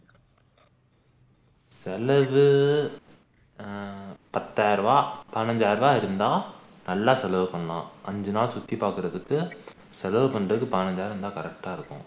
செலவு ஆஹ் பத்தாயிரம் ரூபா பதினைந்து ஆயிரம் ரூபா இருந்தா நல்லா செலவு பண்ணலாம் அஞ்சு நாள் சுற்றி பாக்குறதுக்கு செலவு பண்றதுக்கு பதினைந்து ஆயிரம் இருந்தா correct டா இருக்கும்